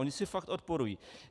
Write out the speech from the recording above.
Ona si fakt odporují.